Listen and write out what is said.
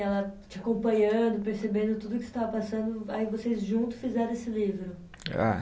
Ela te acompanhando, percebendo tudo o que você estava passando, aí vocês juntos fizeram esse livro? É